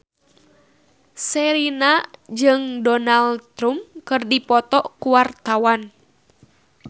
Sherina jeung Donald Trump keur dipoto ku wartawan